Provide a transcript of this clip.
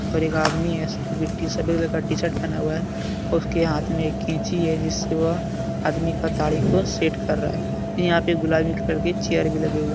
और एक आदमी है का टी शर्ट पहना हुआ है उसके हाथ में एक कैंची है जिससे वह आदमी का दाढ़ी को सेट कर रहा है। यहां पे गुलामी कलर की चेयर भी लगे हुए --